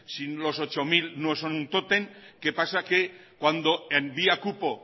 si los ocho mil no son un tótem qué pasa que cuando en vía cupo